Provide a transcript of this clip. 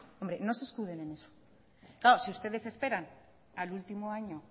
hombre no se escuden en eso claro si ustedes esperan al último año